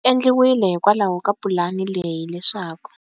Swi endliwile hikwalaho ka pulani leyi leswaku.